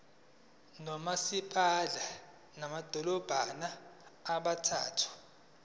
nomasipala bamadolobha abathathu